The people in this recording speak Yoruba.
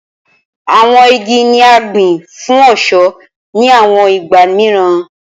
Awọn igi ni a gbin fun ọṣọ ni awọn igba miiran